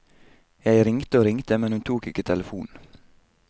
Jeg ringte og ringte, men hun tok ikke telefonen.